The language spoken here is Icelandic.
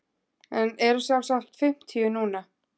En eru sjálfsagt fimmtíu núna.